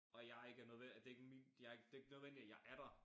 Og jeg ikke er det ikke min jeg ikke det ikke nødvendigt at jeg er der